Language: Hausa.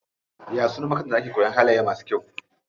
Ya sunan makarantar da ake koyan halaye masu kyau?